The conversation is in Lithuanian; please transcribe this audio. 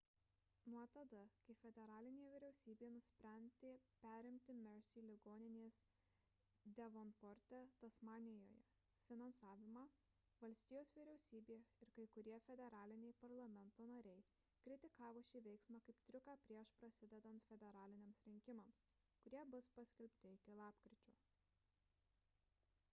nuo tada kai federalinė vyriausybė nusprendė perimti mersey ligoninės devonporte tasmanijoje finansavimą valstijos vyriausybė ir kai kurie federaliniai parlamento nariai kritikavo šį veiksmą kaip triuką prieš prasidedant federaliniams rinkimams kurie bus paskelbti iki lapkričio